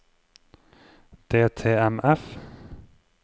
DTMF